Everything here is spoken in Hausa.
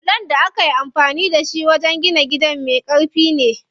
Bulon da akayi amfani da shi wajen gina gidan me ƙarfi ne.